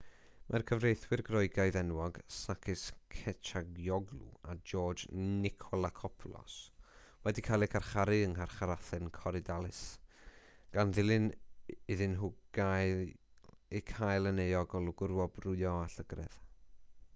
mae'r cyfreithwyr groegaidd enwog sakis kechagioglou a george nikolakopoulos wedi cael eu carcharu yng ngharchar athen korydallus gan iddyn nhw eu cael yn euog o lwgrwobrwyo a llygredd